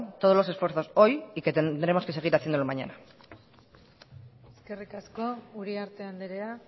todos los esfuerzos hoy y que tendremos que seguir haciéndolo mañana eskerrik asko uriarte andrea